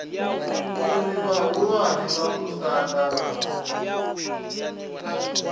uri vhahulwane vha musanda vha